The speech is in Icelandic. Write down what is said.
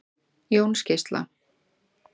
Jónsgeisla